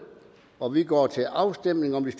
og vi går til afstemning om de